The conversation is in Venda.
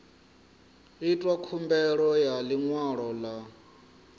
itwa khumbelo ya ḽiṅwalo ḽa